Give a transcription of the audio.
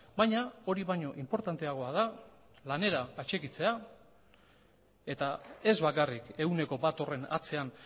baina hori baino inportanteagoa da lanera atxikitzea eta ez bakarrik ehuneko bat horren atzean